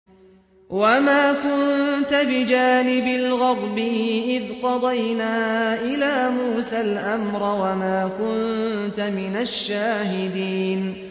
وَمَا كُنتَ بِجَانِبِ الْغَرْبِيِّ إِذْ قَضَيْنَا إِلَىٰ مُوسَى الْأَمْرَ وَمَا كُنتَ مِنَ الشَّاهِدِينَ